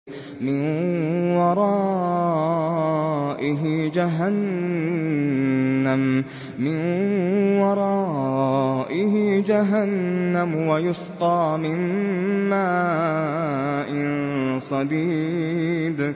مِّن وَرَائِهِ جَهَنَّمُ وَيُسْقَىٰ مِن مَّاءٍ صَدِيدٍ